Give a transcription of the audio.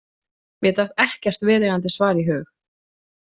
Mér datt ekkert viðeigandi svar í hug.